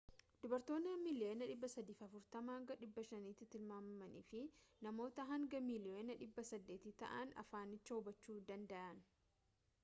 dubbattoota miliyoona 340 hanga 500tti tilmaamaman fi namoota haga miliyoona 800 ta'an afaanicha hubachuu dandayan